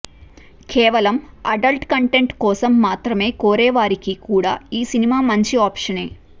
కేవలం adult content కోసం మాత్రమే కోరేవారికి కూడా ఈ సినిమా మంచి ఆప్షనే